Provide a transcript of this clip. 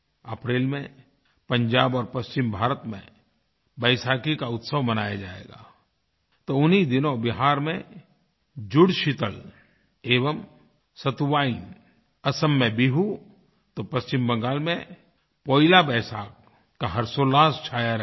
अप्रैल में पंजाब और पश्चिम भारत में वैसाखी का उत्सव मनाया जाएगा तो उन्हीं दिनों बिहार में जुड़शीतलएवंसतुवाईन असम में बिहू तो पश्चिम बंगाल में पोइला वैसाख का हर्ष और उल्लास छाया रहेगा